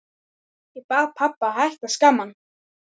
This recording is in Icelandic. Ég bað pabba að hætta að skamma hann.